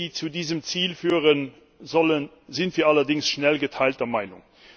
Über die Wege, die zu diesem Ziel führen sollen, sind wir allerdings schnell geteilter Meinung.